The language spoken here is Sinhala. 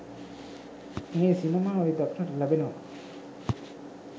මේ සිනමාවේ දක්නට ලැබෙනවා.